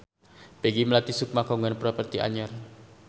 Peggy Melati Sukma kagungan properti anyar